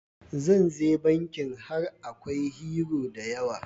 Zan ze bikin har in Akwai "Hero" da yawa.